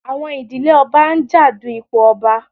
Àwọn ìdílé ọba ń jà du ipò ọba.